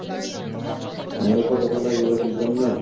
আমরা কত খেলা এইগুলা খেলতাম না।